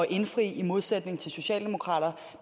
indfri i modsætning til socialdemokraterne